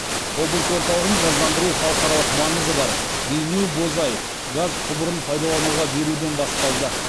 облыс орталығын газдандыру халықаралық маңызы бар бейнеу бозай газ құбырын пайдалануға беруден басталды